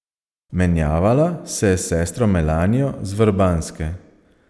Menjavala se je s sestro Melanijo z Vrbanske.